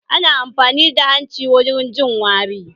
Ana amfani da hanci wurin jin wari